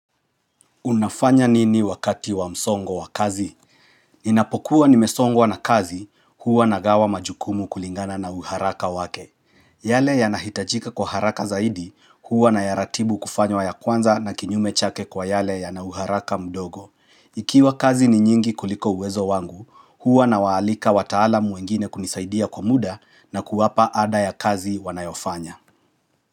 Unafanya nini wakati wa msongo wa kazi? Inapokuwa nimesongwa wa na kazi, huwa na gawa majukumu kulingana na uharaka wake. Yale ya nahitajika kwa haraka zaidi, huwa na yaratibu kufanywa ya kwanza na kinyume chake kwa yale ya na uharaka mdogo. Ikiwa kazi ni nyingi kuliko uwezo wangu, huwa na waalika wataalamu wengine kunisaidia kwa muda na kuwapa ada ya kazi wanayofanya.